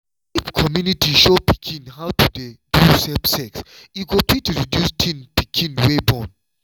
if community show pikin how to do safe sex e fit reduce teen pikin wey born.